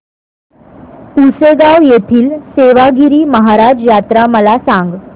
पुसेगांव येथील सेवागीरी महाराज यात्रा मला सांग